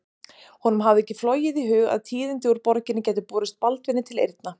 Honum hafði ekki flogið í hug að tíðindi úr borginni gætu borist Baldvini til eyrna.